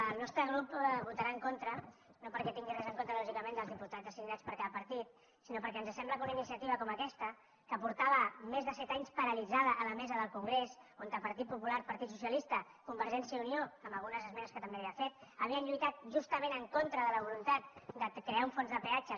el nostre grup hi votarà en contra no perquè tingui res en contra lògicament dels diputats assignats per cada partit sinó perquè ens sembla que una iniciativa com aquesta que feia més de set anys que estava paralitzada a la mesa del congrés on partit popular partit socialista convergència i unió amb algunes esmenes que també havia fet havien lluitat justament en contra de la voluntat de crear un fons de peatges